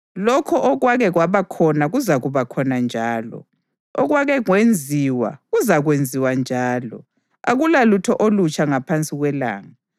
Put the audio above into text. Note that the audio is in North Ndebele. Lokho okwake kwaba khona kuzakuba khona njalo; okwake kwenziwa kuzakwenziwa njalo; akulalutho olutsha ngaphansi kwelanga.